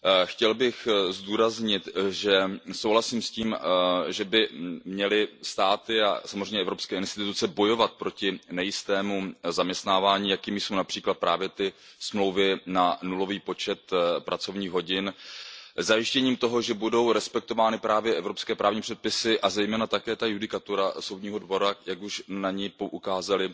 Chtěl bych zdůraznit, že souhlasím s tím, že by měly státy a samozřejmě evropské instituce bojovat proti nejistému zaměstnávání, jakým jsou například právě smlouvy na nulový počet pracovních hodin, zajištěním toho, že budou respektovány právě evropské právní předpisy, a zejména také judikatura Soudního dvora, jak už na ni poukázali